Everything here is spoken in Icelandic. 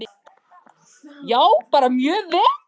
Já, bara mjög vel.